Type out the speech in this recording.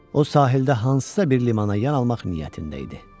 O sahildə hansısa bir limana yan almaq niyyətində idi.